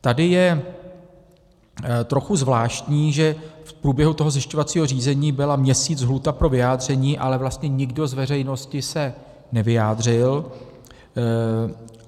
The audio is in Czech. Tady je trochu zvláštní, že v průběhu toho zjišťovacího řízení byla měsíc lhůta pro vyjádření, ale vlastně nikdo z veřejnosti se nevyjádřil.